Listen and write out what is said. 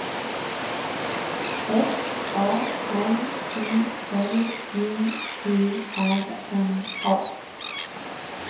F A M I L J E R N A